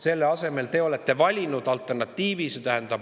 Selle asemel te olete valinud maksutõusude alternatiivi.